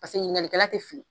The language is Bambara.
Paseke ɲininkalikɛla tɛ fili.